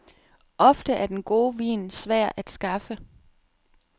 Ofte er den gode vin svær at skaffe.